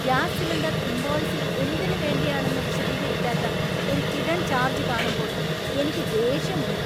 Gas cylinder ഇൻവോയിസിൽ എന്തിനുവേണ്ടിയാണെന്ന് വിശദീകരിക്കാത്ത ഒരു ഹിഡൻ ചാർജ് കാണുമ്പോൾ എനിക്ക് ദേഷ്യമുണ്ട്.